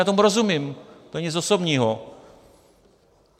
Já tomu rozumím, to není nic osobního.